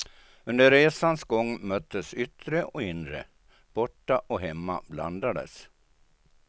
Under resans gång möttes yttre och inre, borta och hemma blandades.